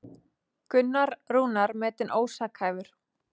Gunnar Rúnar metinn ósakhæfur